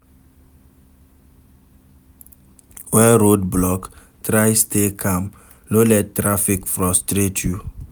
Wen road block, try stay calm, no let traffic frustrate you.